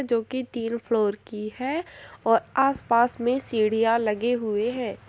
जोकि तीन फ्लोर की है और आसपास में सीढ़ियाँ लगे हुए हैं।